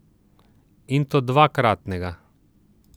In to dvakratnega.